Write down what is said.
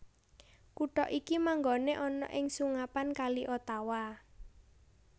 Kutha iki manggoné ing sungapan Kali Ottawa